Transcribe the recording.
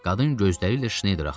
Qadın gözləri ilə Şneyderi axtardı.